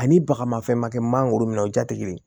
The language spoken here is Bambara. Ani bagamafɛn ma kɛ mangoro minɛ o ja tɛ kelen ye